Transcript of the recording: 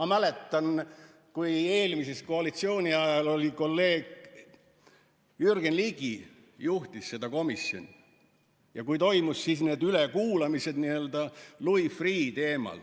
Ma mäletan, kui eelmise koalitsiooni ajal kolleeg Jürgen Ligi juhtis seda komisjoni ja kui toimusid siis need ülekuulamised Louis Freeh' teemal